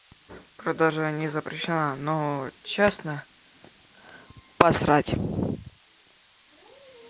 продажа не запрещена но честно посрать